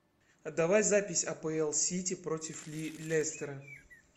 а давай запись апл сити против лестера